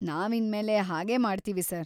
ನಾವ್‌ ಇನ್ಮೇಲೆ ಹಾಗೇ ಮಾಡ್ತೀವಿ ಸರ್.‌